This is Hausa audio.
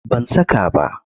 Ban saka ba.